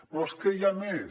però és que hi ha més